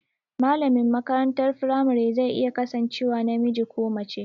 Malamin makarantar firamare zai iya kasancewa namiji ko mace